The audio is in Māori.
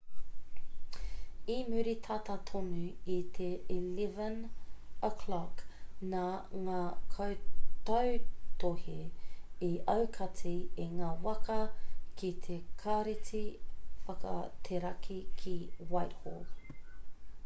i muri tata tonu i te 11:00 nā ngā kaitautohe i aukati i ngā waka ki te kāreti whakateraki ki whitehall